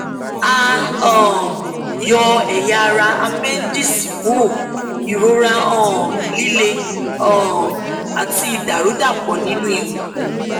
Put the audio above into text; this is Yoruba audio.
a um yọ ẹyà ara àpẹńdíìsì kúrò ìrora um líle um àti ìdàrúdàpọ nínú ikùn